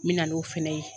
N bɛ na n'o fɛnɛ ye